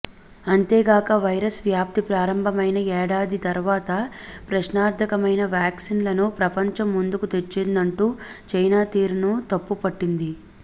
అంతేగాక వైరస్ వ్యాప్తి ప్రారంభమైన ఏడాది తర్వాత ప్రశ్నార్థకమైన వ్యాక్సిన్లను ప్రపంచం ముందుకు తెచ్చిందంటూ చైనా తీరును తప్పు పట్టింది